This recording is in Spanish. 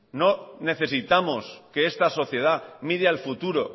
no necesitamos que esta sociedad mire al futuro